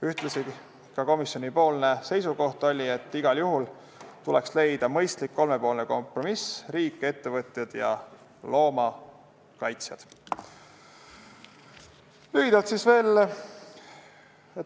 Ühtlasi oli komisjoni seisukoht, et igal juhul tuleks leida mõistlik kolmepoolne kompromiss .